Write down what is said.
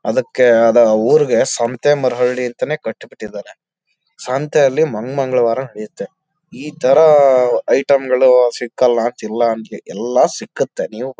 ಅದಕ್ಕೆ ಅದು ಊರಿಗೆ ಸಂತೆಮರಡಿ ಅಂತನೆ ಕಟ್ಬಿಟ್ಟಿದಾರೆ ಸಂತೆ ಅಲ್ಲಿ ಮಂಗ್ ಮಂಗಳವಾರ ನಡೆಯುತ್ತೆ ಈ ಥರ ಐಟಮ್ ಗಳು ಸಿಕ್ಕಲ್ಲ ಅಂತಿಲ್ಲ ಎಲ್ಲ ಸಿಕ್ಕತ್ತೆ.